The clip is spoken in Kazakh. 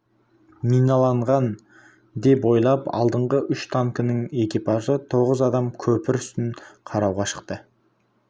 миналанған деп ойлап алдыңғы үш танкінің экипажы тоғыз адам көпір үстін қарауға шықты